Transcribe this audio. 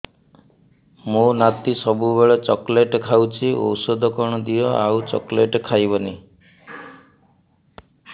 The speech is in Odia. ମୋ ନାତି ସବୁବେଳେ ଚକଲେଟ ଖାଉଛି ଔଷଧ କଣ ଦିଅ ଆଉ ଚକଲେଟ ଖାଇବନି